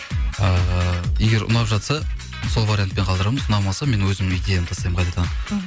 ыыы егер ұнап жатса сол вариантпен қалдырамыз ұнамаса мен өзімнің идеямды тастаймын қайтада мхм